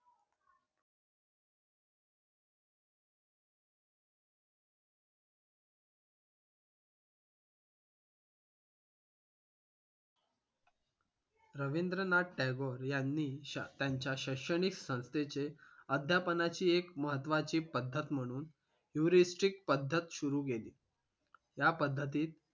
रविंद्रनाथ टागोर यांनी त्यांच्या शैक्षणिक संस्थेचे अद्यापनाची एक महत्वाची पद्धत म्हणून qrestrict पद्धत सुरू केली त्या पद्धतीत